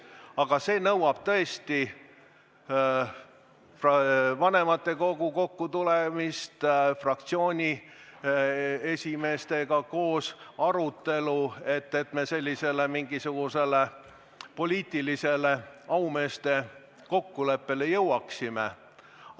Aga see nõuab vanematekogu kokkutulemist, arutelu fraktsioonide esimeestega, et me sellisele poliitilisele aumeeste kokkuleppele jõuaksime.